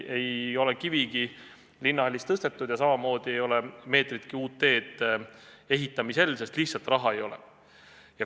Ei ole kivigi Linnahallis tõstetud ja samamoodi ei ole meetritki uut teed ehitamisel, sest raha lihtsalt ei ole.